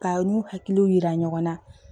Ka u n'u hakiliw yira ɲɔgɔn na